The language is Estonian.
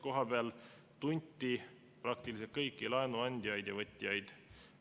Kohapeal tunti praktiliselt kõiki laenuandjaid ja -võtjaid.